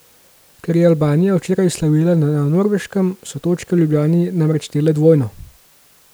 Ker je Albanija včeraj slavila na Norveškem, so točke v Ljubljani namreč štele dvojno.